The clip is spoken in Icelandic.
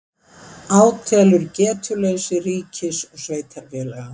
Átelur getuleysi ríkis og sveitarfélaga